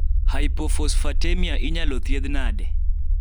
hypophosphatemia inyalo thiedh nade?